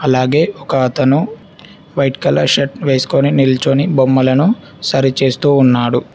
అలాగే ఒక అతను వైట్ కలర్ షర్ట్ వేసుకొని నిల్చోని బొమ్మలను సరి చేస్తూ ఉన్నాడు.